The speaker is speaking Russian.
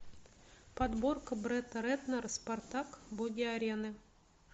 подборка бретта рэтнера спартак боги арены